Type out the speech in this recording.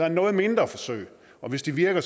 et noget mindre forsøg og hvis de virker